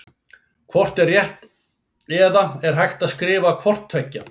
Hvort er rétt eða er hægt að skrifa hvort tveggja?